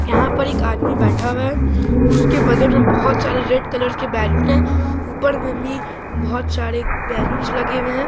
यहाँ पर एक आदमी बैठा हुआ है उसके बगल मे बहुत सारे रेड कलर बैलून है ऊपर में भी बहुत सारे बैलून्स लगे हुए है ।